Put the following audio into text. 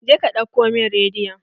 Jeka ɗauko min rediyon!